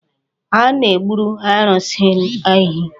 A na-egburu arụsị a ehi.